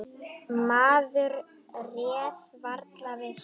Maður réð varla við sig.